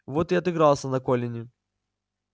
вот и отыгрался на колине